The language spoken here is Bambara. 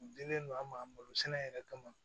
U dilen do an ma sɛnɛ yɛrɛ kama